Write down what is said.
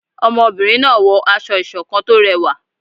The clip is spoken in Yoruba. ọmọbìrin náà wọ aṣọ ìṣọ̀kan tó rẹwa